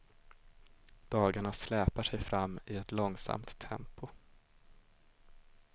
Dagarna släpar sig fram i ett långsamt tempo.